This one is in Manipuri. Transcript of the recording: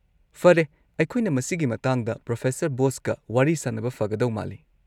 ꯐꯔꯦ, ꯑꯩꯈꯣꯏꯅ ꯃꯁꯤꯒꯤ ꯃꯇꯥꯡꯗ ꯄ꯭ꯔꯣꯐꯦꯁꯔ ꯕꯣꯁꯀ ꯋꯥꯔꯤ ꯁꯥꯅꯕ ꯐꯒꯗꯧ ꯃꯥꯜꯂꯤ꯫